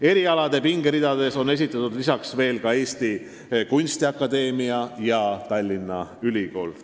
Erialade pingeridades on esindatud veel Eesti Kunstiakadeemia ja Tallinna Ülikool.